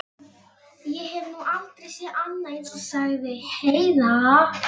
Ég hef nú aldrei séð annað eins, sagði Heiða.